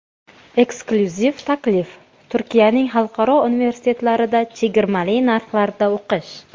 Eksklyuziv taklif: Turkiyaning xalqaro universitetlarida chegirmali narxlarda o‘qish!.